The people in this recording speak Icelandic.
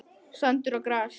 Sandur og gras.